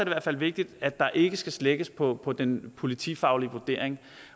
hvert fald vigtigt at der ikke skal slækkes på på den politifaglige vurdering